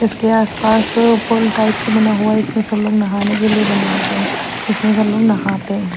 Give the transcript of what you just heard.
इसके आसपास अ पूल टाइप से बना हुआ है इसमें सब लोग नहाने के लिए बनवाते हैं जिसमे सब लोग नहाते हैं।